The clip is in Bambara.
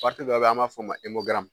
Pariti dɔw be an m'a f'o ma e mogaramu